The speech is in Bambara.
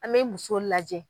An mɛ muso lajɛ